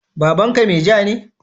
Babanka meja ne?